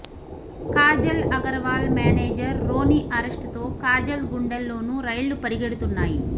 Kajal Aggarwal manager Ronnie arrest తో కాజల్ గుండెల్లోనూ రైళ్లు పరిగెడుతున్నాయి